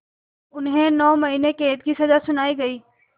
उन्हें नौ महीने क़ैद की सज़ा सुनाई गई